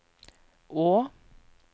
å